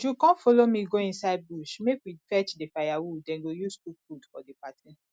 uju come follow me go inside bush make we fetch the firewood dey go use cook food for the party